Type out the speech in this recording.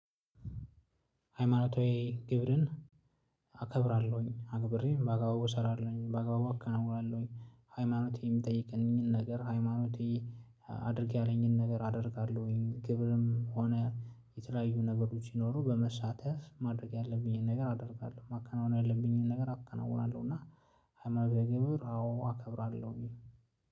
ሃይማኖት ወይ ግብርን አከብራለሁኝ አክብሬም በአጋባቡ እሰራለሁኝ በአጋባቡ እከነውራለሁኝ። ሃይማኖቴ የምጠይቅንን ነገር ሃይማኖቴ አድርግ ያለኝን ነገር አደርጋለሁኝ። ግብርም ሆነ የተለያዩ ነገሮች ሲኖሩ በመሳተፍ ማድረግ ያለብኝን ነገር አደርጋለሁ ማከናወን ያለብኝን ነገር አከናውናለሁ። እና ሀማኖታዊ ግብር አዎ አከብራለሁ ይሄ